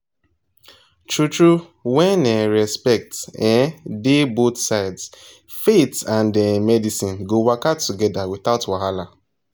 true true when um respect um dey both sides faith and um medicine go waka together without wahala